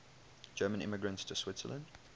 german immigrants to switzerland